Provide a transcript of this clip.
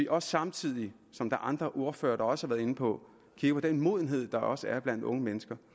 og samtidig som andre ordførere også har været inde på kigger på den modenhed der også er blandt unge mennesker